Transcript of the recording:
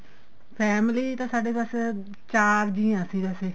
family ਤਾਂ ਸਾਡੇ ਬੱਸ ਚਾਰ ਜੀ ਆ ਅਸੀਂ ਵੈਸੇ